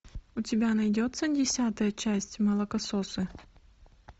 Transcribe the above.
у тебя найдется десятая часть молокососы